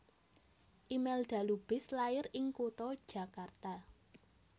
Imelda Lubis lair ing kutha Jakarta